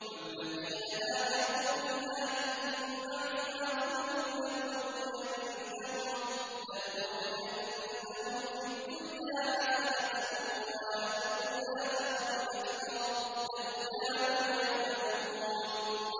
وَالَّذِينَ هَاجَرُوا فِي اللَّهِ مِن بَعْدِ مَا ظُلِمُوا لَنُبَوِّئَنَّهُمْ فِي الدُّنْيَا حَسَنَةً ۖ وَلَأَجْرُ الْآخِرَةِ أَكْبَرُ ۚ لَوْ كَانُوا يَعْلَمُونَ